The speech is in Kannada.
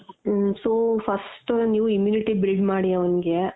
ಹಮ್ so first ನೀವು immunity build ಮಾಡಿ ಅವ್ಙ್ಗೆ